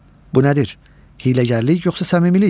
Bu nədir: hiyləgərlik yoxsa səmimilik?